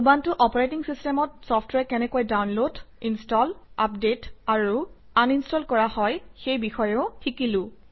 Ubuntu operating চিচটেমত software কেনেকৈ download install update আৰু আনইনষ্টল কৰা হয় সেই বিষয়েও শিকিলো